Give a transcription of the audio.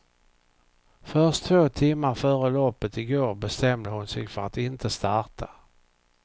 Först två timmar före loppet i går bestämde hon sig för att inte starta.